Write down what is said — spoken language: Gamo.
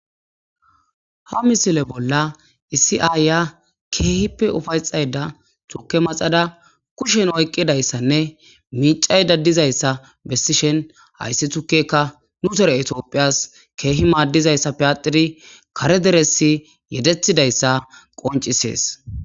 Ha misile bolla iisi aya keehippe ufayxayda tuke maxada kushen oyqqidayssanne miicayda dizayssa bessishen hayssi tukeka nu tere etiophiyas keehi maaddizayssa piyatiri kare deresi yedethidayssa qoncisees.